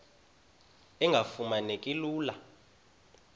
engafuma neki lula